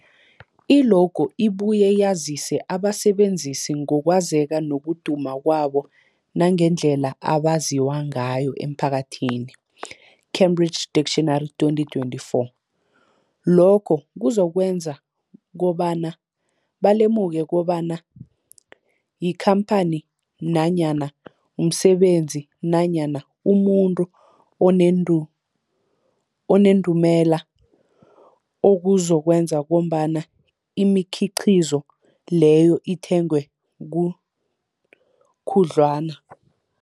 I-logo ibuye yazise abasebenzisi ngokwazeka nokuduma kwabo nangendlela abaziwa ngayo emphakathini, Cambridge Dictionary, 2024. Lokho kuzokwenza kobana balemuke kobana yikhamphani nanyana umsebenzi nanyana umuntu onendu onendumela, okuzokwenza kobana imikhiqhizo leyo ithengwe gu khudlwana.